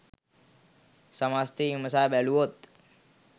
සමස්තය විමසා බැලුවොත්